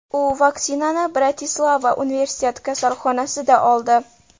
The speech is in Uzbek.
U vaksinani Bratislava universitet kasalxonasida oldi.